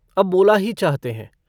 अब बोला ही चाहते हैं।